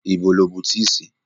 Ibo lo bu tíì sí?